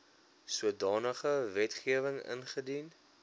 sodanige wetgewing ingedien